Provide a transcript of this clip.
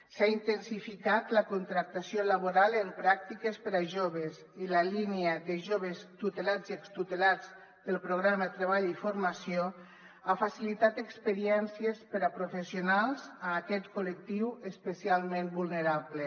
s’ha intensificat la contractació laboral en pràctiques per a joves i la línia de jo·ves tutelats i extutelats del programa treball i formació ha facilitat experiències per a professionals a aquest col·lectiu especialment vulnerable